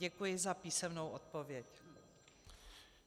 Děkuji za písemnou odpověď.